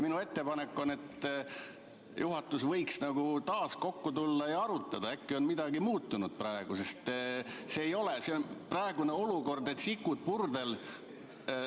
Minu ettepanek on, et juhatus võiks taas kokku tulla ja arutada, äkki on midagi muutunud, sest praegune olukord on nagu sikud purdel.